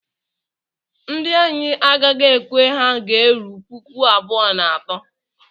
Ndị anyị a gaghị ekwe ha ga-eru puku abụọ na atọ?